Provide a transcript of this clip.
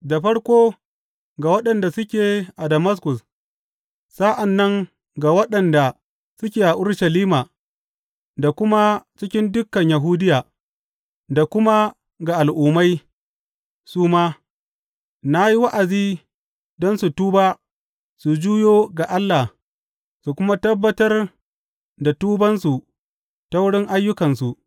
Da farko ga waɗanda suke a Damaskus, sa’an nan ga waɗanda suke a Urushalima da kuma cikin dukan Yahudiya, da kuma ga Al’ummai su ma, na yi wa’azi don su tuba su juyo ga Allah su kuma tabbatar da tubansu ta wurin ayyukansu.